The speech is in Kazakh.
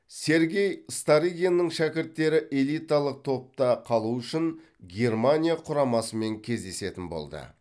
сергей старыгиннің шәкірттері элиталық топта қалу үшін германия құрамасымен кездесетін болды